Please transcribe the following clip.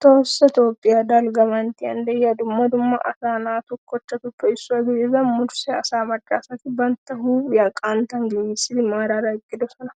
Tohoossa toophphiya dalgga manttiyan de'iya dumma dumma asa naatu kochchatuppe issuwa gidida murse asaa maccasati bantta huuphphiya qanttan gigissidi maaraara eqqidosona.